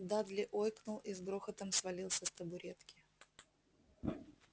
дадли ойкнул и с грохотом свалился с табуретки